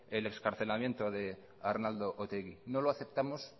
el excarcelamiento de arnaldo otegi no lo aceptamos